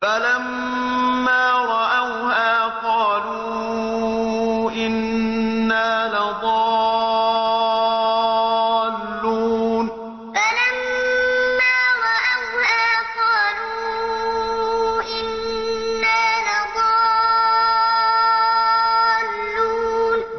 فَلَمَّا رَأَوْهَا قَالُوا إِنَّا لَضَالُّونَ فَلَمَّا رَأَوْهَا قَالُوا إِنَّا لَضَالُّونَ